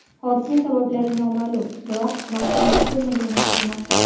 Hodisa sabablari noma’lum, biroq marhum mast bo‘lmagani aytilmoqda.